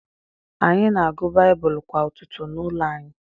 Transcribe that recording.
Anyị na-agụ Baịbụl kwa ụtụtụ n’ụlọ anyị.